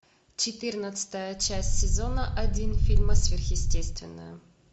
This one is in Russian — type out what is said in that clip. четырнадцатая часть сезона один фильма сверхестественное